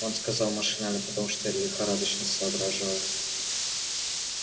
он сказал машинально потому что лихорадочно соображал